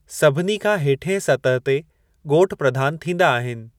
सभिनी खां हेठियें सतहु ते ॻोठु प्रधानु थींदा आहिनि।